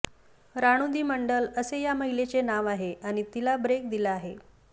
रानू दी मंडल असं या महिलेचं नाव आहे आणि तिला ब्रेक दिला आहे